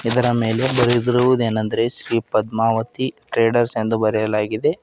ಇದರ ಮೇಲೆ ಬರೆದಿರುವುದೇನಂದರೆ ಶ್ರೀ ಪದ್ಮಾವತಿ ಟ್ರೇಡರ್ಸ್ ಎಂದು ಬರೆಯಲಾಗಿದೆ.